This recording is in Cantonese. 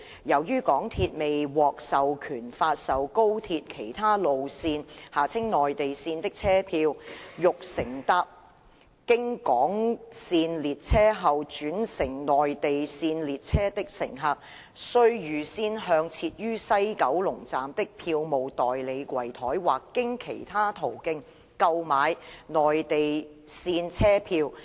由於港鐵未獲授權發售高鐵其他路線的車票，欲乘搭經港線列車後轉乘內地線列車的乘客，需預先向設於西九龍站的票務代理櫃枱或經其他途徑購買內地線車票。